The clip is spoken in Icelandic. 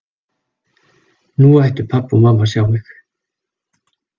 Nú ættu pabbi og mamma að sjá mig!